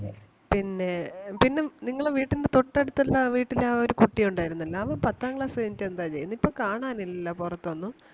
പിന്നേ പിന്നെ നിങ്ങളെ വീട്ടിന്റെ തൊട്ടടുത്തുള്ള ആ വീട്ടിലെ ആ ഒരു കുട്ടി ഒണ്ടായിരുന്നില്ലേ അവൻ പത്താം class കഴിഞ്ഞിട്ട് എന്താ ചെയ്യുന്നേ? ഇപ്പം കാണാൻ ഇല്ലല്ലോ പൊറത്തൊന്നും.